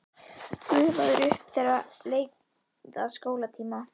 Gufaði upp þegar leið að skólatíma.